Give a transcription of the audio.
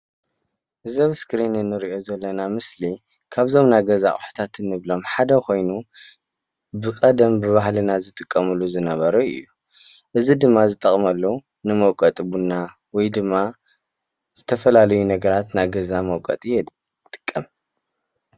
እዚ ኣብ ስክሪን እንሪኦ ዘለና ምስሊ ካብዞም ናይ ገዛ ኣቑሑታት ንብሎም ሓደ ኮይኑ ብቐደም ብባህልና ዝጥቀምሉ ዝነበሩ እዩ። እዚ ድማ ዝጠቕመሉ ንመውቀጢ ቡና ወይ ድማ ዝተፈላለዩ ነገራት ናይ ገዛ መውቀጢ ይጥቀም ።